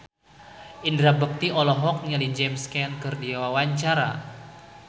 Indra Bekti olohok ningali James Caan keur diwawancara